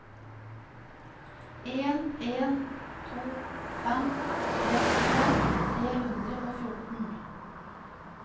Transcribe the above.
en en to fem trettifem tre hundre og fjorten